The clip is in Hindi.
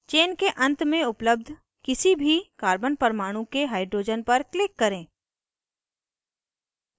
chain के अंत में उपलब्ध किसी भी carbon परमाणु के hydrogen पर click करें